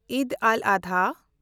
ᱤᱫᱽ ᱟᱞ-ᱟᱫᱷᱟ